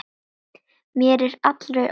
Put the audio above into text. Mér er allri orðið ískalt.